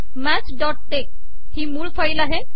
maths dot tech ही मूळ file आहे